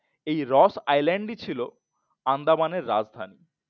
এই Ross Island ই ছিল আন্দামানের রাজধানী